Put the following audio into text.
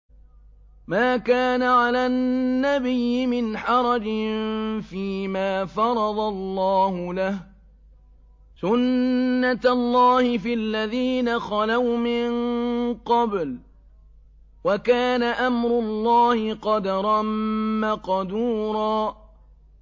مَّا كَانَ عَلَى النَّبِيِّ مِنْ حَرَجٍ فِيمَا فَرَضَ اللَّهُ لَهُ ۖ سُنَّةَ اللَّهِ فِي الَّذِينَ خَلَوْا مِن قَبْلُ ۚ وَكَانَ أَمْرُ اللَّهِ قَدَرًا مَّقْدُورًا